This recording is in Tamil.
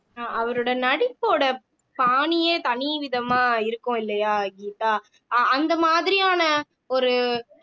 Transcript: அஹ் அவரோட நடிப்போட பாணியே தனி விதமா இருக்கும் இல்லையா கீதா அஹ் அந்த மாதிரியான ஒரு